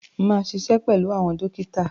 Máa ṣiṣẹ́ pẹ̀lú àwọn dókítà.